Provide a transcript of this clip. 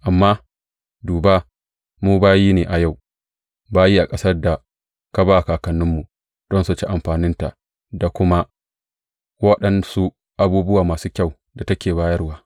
Amma duba, mu bayi ne a yau, bayi a ƙasar da ka ba kakanninmu don su ci amfaninta da kuma waɗansu abubuwa masu kyau da take bayarwa.